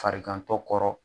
Farigantɔ kɔrɔ